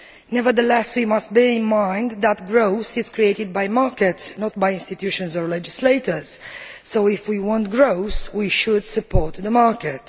Nevertheless, we must bear in mind that growth is created by markets not by institutions or legislators so, if we want growth, we should support the market.